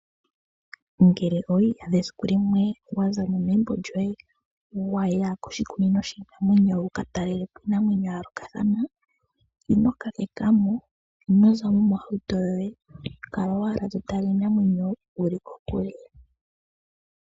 Ngele owi iyadha esiku limwe wa za mo megumbo lyoye wa ya koshikunino shiinamwenyo wu ka talele po iinamwenyo ya yoolokathana, ino kakeka mo, ino za mo mohauto yoye. Kala owala to tala iinamwenyo wu li kokule.